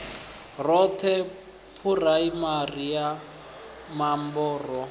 roṱhe phuraimari ya mambo ro